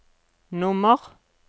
nummer